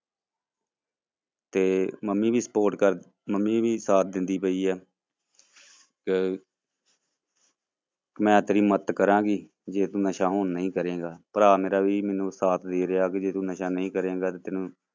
ਤੇ ਮੰਮੀ ਵੀ support ਕਰ ਮੰਮੀ ਵੀ ਸਾਥ ਦਿੰਦੀ ਪਈ ਹੈ ਕਿ ਮੈਂ ਤੇਰੀ ਮਦਦ ਕਰਾਂਗੀ, ਜੇ ਤੂੰ ਨਸ਼ਾ ਹੁਣ ਨਹੀਂ ਕਰੇਂਗਾ, ਭਰਾ ਮੇਰਾ ਵੀ ਮੈਨੂੰ ਸਾਥ ਦੇ ਰਿਹਾ ਵੀ ਜੇ ਤੂੰ ਨਸ਼ਾ ਨਹੀਂ ਕਰੇਂਗਾ ਤੇ ਤੈਨੂੰ